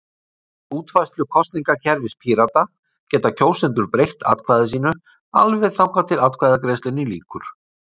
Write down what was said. Í útfærslu kosningakerfis Pírata geta kjósendur breytt atkvæði sínu alveg þangað til atkvæðagreiðslunni lýkur.